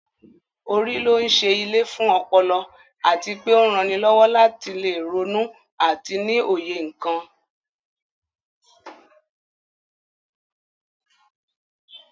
Orí ló ń ṣe ilé fún ọpọlọ àti pé ó ń ranilọ́wọ́ láti lè ronú àti ní òye nǹkan